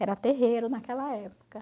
Era terreiro naquela época.